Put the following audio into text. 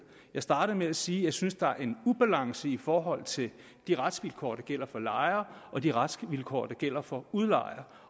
jeg startede med at sige at jeg synes der er ubalance i forhold til de retsvilkår der gælder for lejere og de retsvilkår der gælder for udlejere